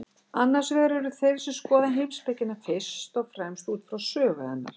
Annars vegar eru þeir sem skoða heimspekina fyrst og fremst út frá sögu hennar.